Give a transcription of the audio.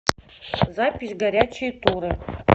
запись горячие туры